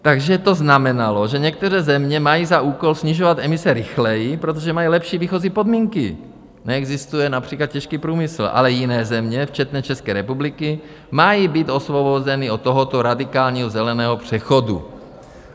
Takže to znamenalo, že některé země mají za úkol snižovat emise rychleji, protože mají lepší výchozí podmínky, neexistuje například těžký průmysl, ale jiné země včetně České republiky mají být osvobozeny od tohoto radikálního zeleného přechodu.